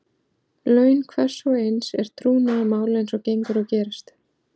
Laun hvers og eins er trúnaðarmál eins og gengur og gerist.